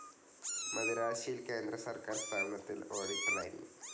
മദിരാശിയിൽ കേന്ദ്രസർക്കാർ സ്ഥാപനത്തിൽ ഓഡിറ്ററായിരുന്നു.